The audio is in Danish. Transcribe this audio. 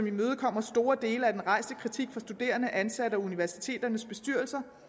imødekommer store dele af den rejste kritik fra studerende ansatte og universiteternes bestyrelser